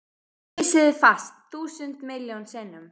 Ég kyssi þig fast, þúsund miljón sinnum.